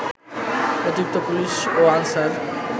অতিরিক্ত পুলিশ ও আনসার